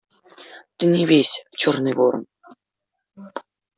ты не вейся чёрный ворон